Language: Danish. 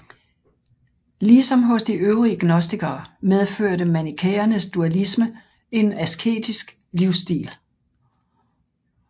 Ligesom hos de øvrige gnostikere medførte manikæernes dualisme en asketisk livsstil